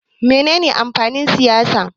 Me ne ne amfanin siyasa?